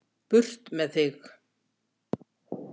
Burt með þig.